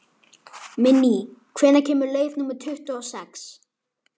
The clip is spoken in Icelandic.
Minney, hvenær kemur leið númer tuttugu og sex?